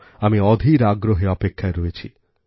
আমি অধীর আগ্রহে অপেক্ষায় রয়েছি